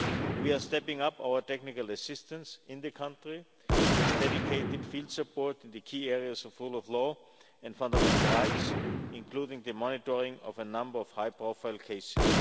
We are stepping up our technical assistance in the country with dedicated field support in the key areas of rule of law and fundamental rights, including the monitoring of a number of high-profile cases.